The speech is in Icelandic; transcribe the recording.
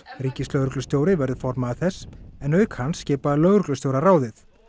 ríkislögreglustjóri verður formaður þess en auk hans skipa lögreglustjórar ráðið